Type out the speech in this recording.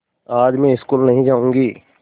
आज मैं स्कूल नहीं जाऊँगी